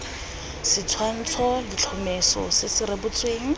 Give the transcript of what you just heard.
setshwantsho letlhomeso se se rebotsweng